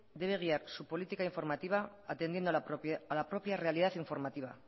debe guiar política informativa atendiendo a la propia realidad informativa